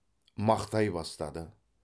мақтай бастады